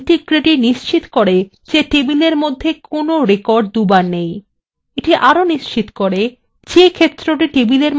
entity integrity নিশ্চিত করে যে table মধ্যে কোন records দুবার নেই